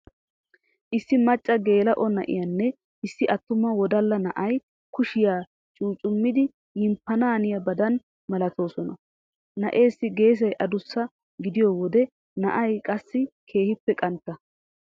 Issi macca geela'o na'iyanne issi attuma wodalla na'ay kushiya cuccumidi yimppanaaniyaba milatoosona. Na'eessi geesay adussabgidiyo wode na'ayi qassi keehippe qantta.